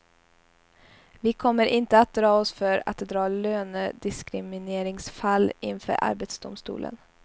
Vi kommer inte att dra oss för att dra lönediskrimineringsfall inför arbetsdomstolen.